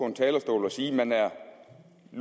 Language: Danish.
en talerstol og sige at man er er